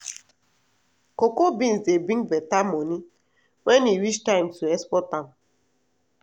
cocoa beans dey bring better money when e reach time to export am